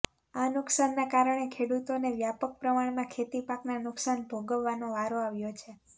આ નુકસાન ના કારણે ખેડૂતોને વ્યાપક પ્રમાણમાં ખેતી પાકના નુકસાન ભોગવવાનો વારો આવ્યો છે